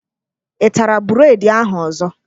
Ị tara bureedi ahụ ọzọ?